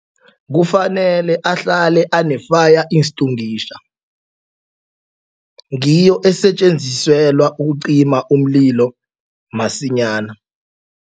Kufanele ahlale ane-fire extinguisher ngiyo esetjenziselwa ukucima umlilo masinyana.